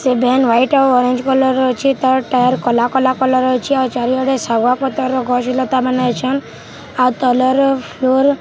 ସେ van white ଆଉ orange colour ର ଅଛେ ତାର ଟାୟାର କଲା କଲା କଲର୍‌ ର ଅଛେ ଆଉ ଚାରି ଆଡେ ଶାଗୁଆ ପତର୍‌ ର ଗଛ ଲତା ମାନେ ଅଛନ୍‌ ଆଉ ତଲର୍‌ ଫ୍ଲୋର --